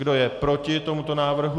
Kdo je proti tomuto návrhu?